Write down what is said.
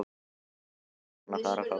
Jóhannes: Ertu búinn að fara á kaf?